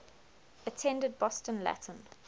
attended boston latin